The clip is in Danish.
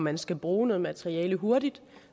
man skal bruge noget materiale hurtigt